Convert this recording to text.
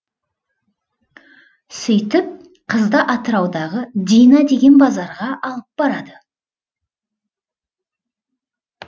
сөйтіп қызды атыраудағы дина деген базарға алып барады